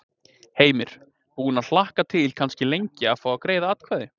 Heimir: Búinn að hlakka til kannski lengi að fá að greiða atkvæði?